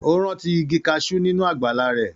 Ó rántí igi kaṣú nínú àgbàlá rẹ̀.